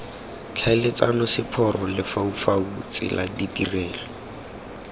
tlhaeletsano seporo lefaufau tsela ditirelo